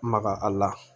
Maga a la